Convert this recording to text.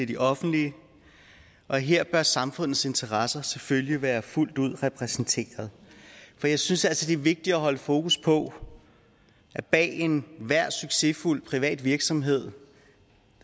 de offentlige og her bør samfundets interesser selvfølgelig være fuldt ud repræsenteret for jeg synes altså det er vigtigt at holde fokus på at bag enhver succesfuld privat virksomhed